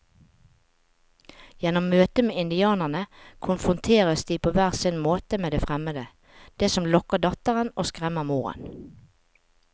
Gjennom møtet med indianerne konfronteres de på hver sin måte med det fremmede, det som lokker datteren og skremmer moren.